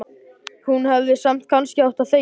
Hún hefði samt kannski átt að þegja.